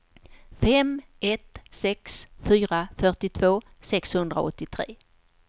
fem ett sex fyra fyrtiotvå sexhundraåttiotre